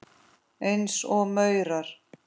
Eins og maurar.